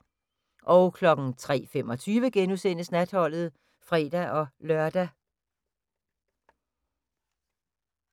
03:25: Natholdet *(fre-lør)